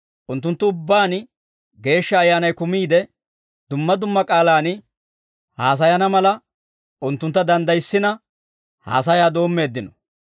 Unttunttu ubbaan Geeshsha Ayyaanay kumiide, dumma dumma k'aalaan haasayana mala, unttuntta danddayissina, haasayaa doommeeddino.